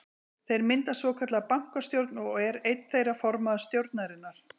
Þeir mynda svokallaða bankastjórn og er einn þeirra formaður stjórnarinnar.